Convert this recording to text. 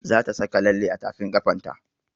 Za ta saka lalle a tafin ƙafan ta